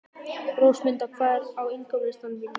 Rósmunda, hvað er á innkaupalistanum mínum?